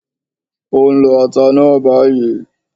Ó ń lọ ata náà bayìí